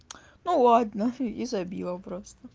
ну ладно и забила просто